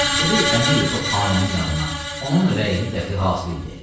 Gedək Əmiri-Topxanənin yanına, onun rəyini dəxi hasil eləyək.